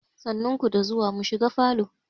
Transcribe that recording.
Sannu ku da zuwa, mu shiga falo.